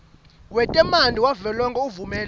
wetemanti wavelonkhe uvumela